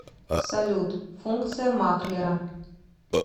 салют функция маклера